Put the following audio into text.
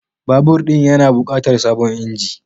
Babur ɗin ya na bukatar sabon inji